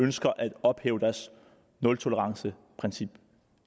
ønsker at ophæve deres nultoleranceprincip